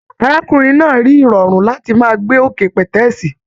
Arákùnrin náà rí irọrun láti máa gbé òkè pẹtẹẹsì.